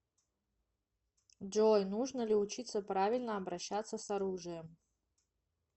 джой нужно ли учиться правильно обращаться с оружием